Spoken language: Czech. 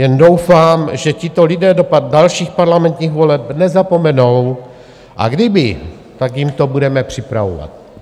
Jen doufám, že tito lidé do dalších parlamentních voleb nezapomenou, a kdyby, tak jim to budeme